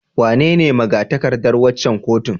Wanene maga-takardar waccan kotun?